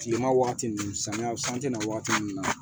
Kilema wagati nun samiya san te na wagati mun na